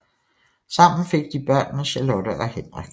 Sammen fik de børnene Charlotte og Henrik